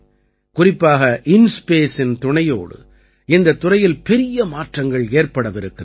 குறிப்பாக இன்ஸ்பேஸ் இன் துணையோடு இந்தத் துறையில் பெரிய மாற்றங்கள் ஏற்படவிருக்கின்றன